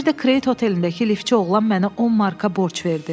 Bir də Kredit Hotelindəki liftçi oğlan mənə 10 marka borc verdi.